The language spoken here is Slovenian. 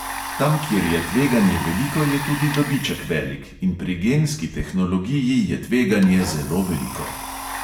Tam, kjer je tveganje veliko, je tudi dobiček velik, in pri genski tehnologiji je tveganje zelo veliko.